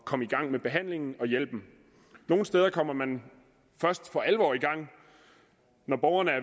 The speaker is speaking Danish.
komme i gang med behandlingen og hjælpen nogle steder kommer man først for alvor i gang når borgerne er